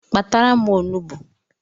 Kpatara m onugbu